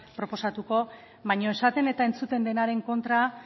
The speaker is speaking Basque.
proposatuko baina esaten eta entzuten denaren kontra